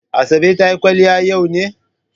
Asabe ta yi kwaliya yau ne?